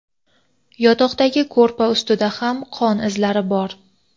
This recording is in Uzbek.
yotoqdagi ko‘rpa ustida ham qon izlari bor.